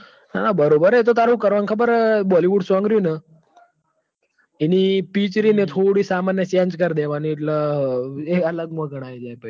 ના બોરોબર હ ક તાર હું કર વાનું ખબર હ ક bollywoodsong રીયુન ઇ ની પીચ થોડી સામાન્ય change કર દેવાની એટલ એ અલગ મો ગણાઇ જાય પહી